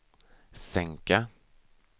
sänka